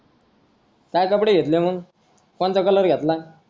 काय कपडे घेतले मग कोणता color घेतला